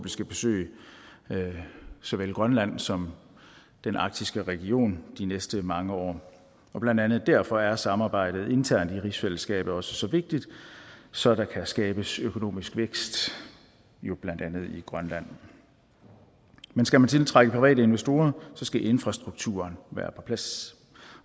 skal besøge såvel grønland som den arktiske region de næste mange år blandt andet derfor er samarbejdet internt i rigsfællesskabet også så vigtigt så der kan skabes økonomisk vækst blandt andet i grønland men skal man tiltrække private investorer skal infrastrukturen være på plads